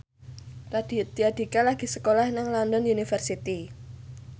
Raditya Dika lagi sekolah nang London University